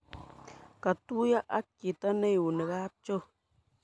Katuyo ak chito neiuni kapchoo.